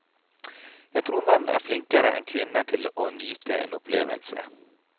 Jeg tror menn er flinkere enn kvinner til å nyte en opplevelse.